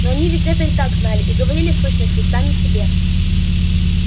но они ведь это и так знали и говорили в сущности сами себе